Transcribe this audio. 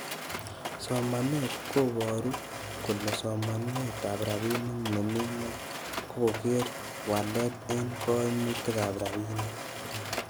Somanet koboru kole somanetab rabinik nemi gwony, ko koree waleet en koimutigab rabinik.